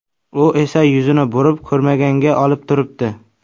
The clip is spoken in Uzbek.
U esa yuzini burib, ko‘rmaganga olib turibdi.